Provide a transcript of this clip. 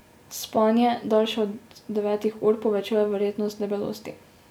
Spanje, daljše od devetih ur, povečuje verjetnost debelosti.